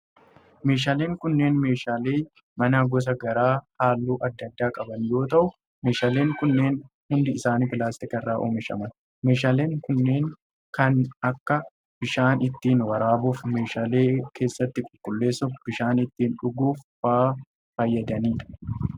Meeshaaleen kunneen meeshaalee manaa gosa garaa haalluu adda addaa qaban yoo ta'u, meeshaaleen kunneen hundi isaanii pilaastika irraa oomishaman. Meeshaaleen kunneen kan akka:bishaan ittiin waraabuuf, meeshaalee keessatti qulqulleessuuf, bishaan ittiin dhuguuf faa fayyadanii dha.